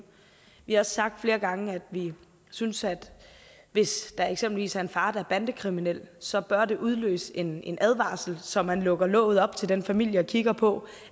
vi har også sagt flere gange at vi synes at hvis der eksempelvis er en far der er bandekriminel så bør det udløse en en advarsel så man lukker låget op til den familie og kigger på